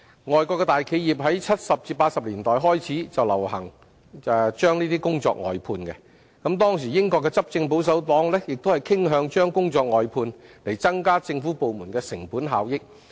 外國大企業於1970年代至1980年代開始流行把工作外判，當時英國的執政保守黨亦傾向將工作外判，以增加政府部門的成本效益。